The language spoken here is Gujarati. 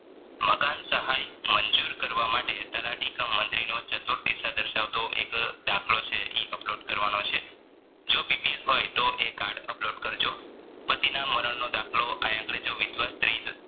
મકાન સહાય મંજુર કરવા માટે તલાટીક મન્ત્રિણો ચતુર દિશા દરસાવતો દસખલો છે ઈ upload કરવાનો છે જો BPL હોય તો એ card upload કરજો પતિના મરણનો દાખલો આયા આગળ જો વિધવા સ્ત્રી